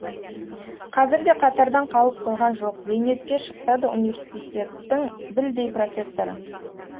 қазір де қатардан қалып қойған жоқ зейнетке шықса да университеттің білдей профессоры